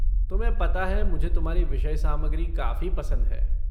तुम्हें पता है मुझे तुम्हारी विषय सामग्री काफ़ी पसंद है